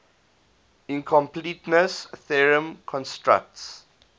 incompleteness theorem constructs